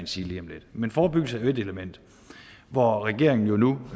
sige lige om lidt men forebyggelse er jo ét element hvor regeringen nu